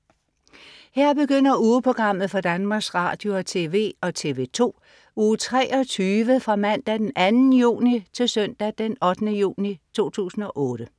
Her begynder ugeprogrammet for Danmarks Radio- og TV og TV2 Uge 23 Fra Mandag den 2. juni 2008 Til Søndag den 8. juni 2008